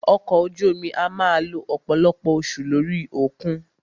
Ọkọ̀ ojú omi a máà lo ọ̀pọ̀lọpọ̀ oṣù lórí òkun.